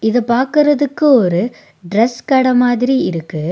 இத பாக்குறதிக்கு ஒரு டிரஸ் கட மாதிரி இருக்கு.